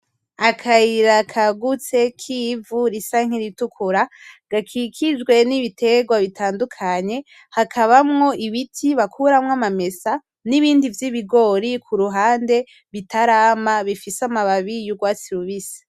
Akayira kagutse k'ivu risa nkiritukura gakikijwe n'ibiterwa bitandukanye, hakabamwo Ibiti bakuramwo amamesa, n'ibindi vy'ibigori kuruhande bitarama bifise amababi yurwatsi rubisi.